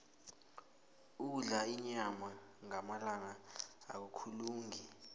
ukudla inyama ngamalanga akukalungi